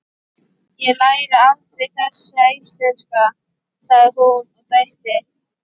Ég læri aldrei þessi íslenska, sagði hún og dæsti.